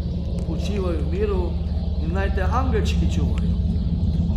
Počivaj v miru in naj te angelčki čuvajo ...